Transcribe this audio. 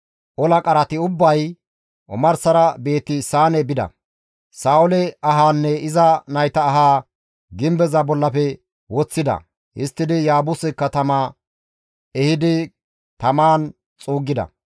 ola qarati ubbay omarsara Beeti-Saane bida; Sa7oole ahaanne iza nayta ahaa gimbeza bollafe woththida; histtidi Yaabuse katama ehidi tamaan xuuggida.